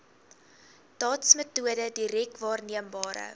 dotsmetode direk waarneembare